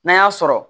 N'an y'a sɔrɔ